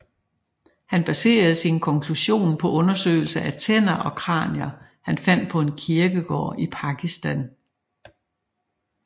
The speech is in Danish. Han baserede sin konklusion på undersøgelser af tænder og kranier han fandt på en kirkegård i Pakistan